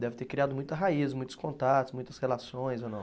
Deve ter criado muita raiz, muitos contatos, muitas relações, ou não?